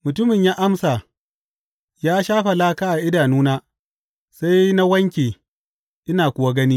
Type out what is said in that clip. Mutumin ya amsa, Ya shafa laka a idanuna, sai na wanke, ina kuwa gani.